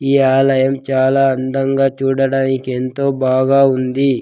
ఈ ఆలయం చాలా అందంగా చూడడానికి ఎంతో బాగా ఉంది.